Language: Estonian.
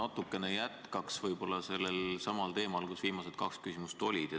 Ma natukene jätkaks selsamal teemal, mille kohta viimased kaks küsimust olid.